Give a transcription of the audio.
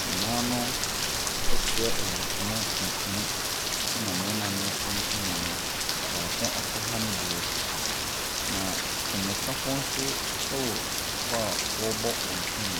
Na mmaa no ɛfira ayi ntoma tuntum ɛna mmarima no ntoma no baako akoha ne deɛ. Na twenekafoɔ nso wɔ hɔ a ɔrebɔ wɔn twene.